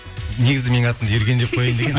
негізі менің атымды ерген деп қояйын деген